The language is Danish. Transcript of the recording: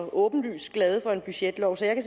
åbenlyst glade for en budgetlov så jeg